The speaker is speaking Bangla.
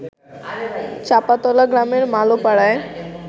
চাঁপাতলা গ্রামের মালোপাড়ায়